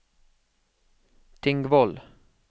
Tingvoll